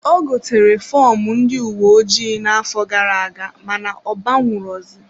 Ọ gotere fọmụ ndị uwe ojii na-afo gara-aga mana ọ banwu ro zi.